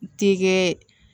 Ti kɛ